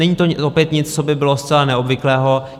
Není to opět nic, co by bylo zcela neobvyklého.